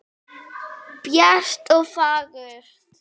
Bjart og fagurt.